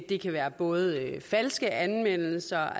det kan være både falske anmeldelser